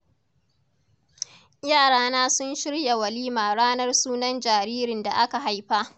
Yarana sun shirya walima ranar sunan jaririn da aka haifa.